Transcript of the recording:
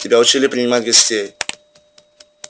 тебя учили принимать гостей